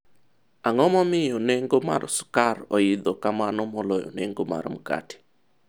ang'o momiyo nengo mar skar oidho kamano moloyo nengo mar mkate?